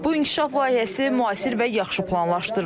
Bu inkişaf layihəsi müasir və yaxşı planlaşdırılıb.